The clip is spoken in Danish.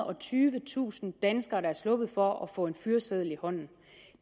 og tyvetusind danskere der er sluppet for at få en fyreseddel i hånden